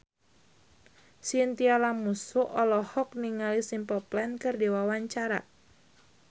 Chintya Lamusu olohok ningali Simple Plan keur diwawancara